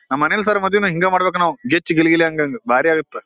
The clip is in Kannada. ನಮ್ ಅನಿಲ್ ಸರ್ ಮದ್ವೆನ ಹಿಂಗೇ ಮಾಡಬೇಕು ನಾವು ಗಿಚ್ಚಿ ಗಿಲಿ ಗಿಲಿ ಹಂಗಂದ್ ಬರಿ ಅಗತ್.